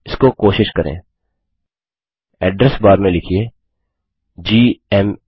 इसको कोशिश करें एड्रेस बार में लिखिए जीएमए